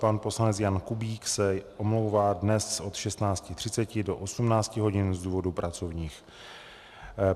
Pan poslanec Jan Kubík se omlouvá dnes od 16.30 do 18.00 hodin z důvodů pracovních.